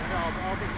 Allaha qurban olum.